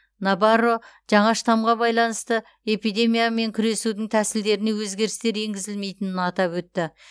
набарро жаңа штамға байланысты эпидемиямен күресудің тәсілдеріне өзгерістер енгізілмейтінін атап өтті